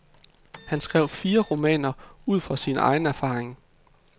Han skrev fire romaner ud fra sin egen erfaring.